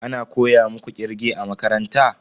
Ana koya muku kirge a makaranta?